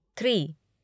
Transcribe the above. three